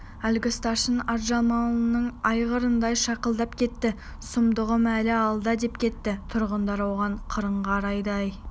әлгі старшын атжалманның айғырындай шақылдап кетті сұмдығым әлі алда деп кетті тұрғандар оған қырын қарады әй